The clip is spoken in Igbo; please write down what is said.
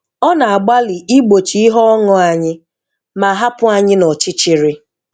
Ọ na-agbalị igbochi ihe ọṅù anyị, ma-hapụ anyị nọchịchịrị